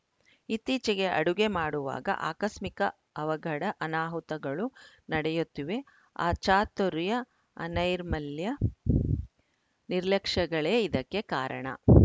ಇತ್ತೀಚೆಗೆ ಅಡುಗೆ ಮಾಡುವಾಗ ಆಕಸ್ಮಿಕ ಅವಗಡ ಅನಾಹುತಗಳು ನಡೆಯುತ್ತಿವೆ ಅಚಾತುರ್ಯ ಅನೈರ್ಮಲ್ಯ ನಿರ್ಲಕ್ಷ್ಯಗಳೇ ಇದಕ್ಕೆ ಕಾರಣ